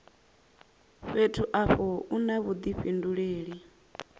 fhethu afho u na vhudifhinduleli